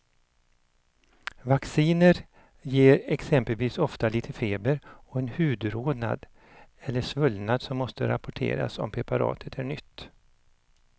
Vacciner ger exempelvis ofta lite feber och en hudrodnad eller svullnad som måste rapporteras om preparatet är nytt.